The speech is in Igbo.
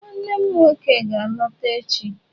Nwannem nwoke ga-alọta echi